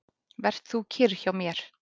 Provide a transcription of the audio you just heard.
Ver þú kyrr hjá mér.